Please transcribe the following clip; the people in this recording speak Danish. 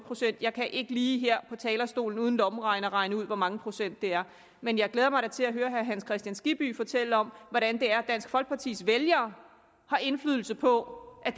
procent jeg kan ikke lige her på talerstolen uden en lommeregner regne ud hvor mange procent det er men jeg glæder mig da til at høre herre hans kristian skibby fortælle om hvordan det er at dansk folkepartis vælgere har indflydelse på at